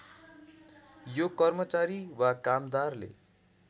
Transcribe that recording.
यो कर्मचारी वा कामदारले